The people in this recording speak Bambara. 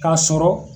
K'a sɔrɔ